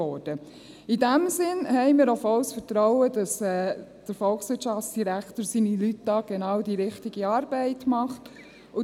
In diesem Sinne haben wir auch volles Vertrauen, dass der Volkswirtschaftsdirektor und seine Leute genau die richtige Arbeit machen.